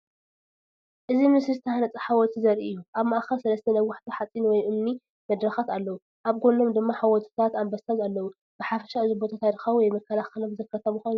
እዚ ምስሊ ዝተሃንጸ ሓወልቲ ዘርኢ እዩ። ኣብ ማእከል ሰለስተ ነዋሕቲ ሓጺን ወይ እምኒ መድረኻት ኣለዉ። ኣብ ጎድኖም ድማ ሓወልትታት ኣንበሳ ኣለዉ። ብሓፈሻ እዚ ቦታ ታሪኻዊ ወይ መከላኸሊ መዘከርታ ምዃኑ ዘመልክት እዩ።